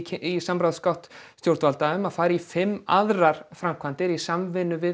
í samráðsgátt stjórnvalda áform um að fara í fimm aðrar framkvæmdir í samvinnu við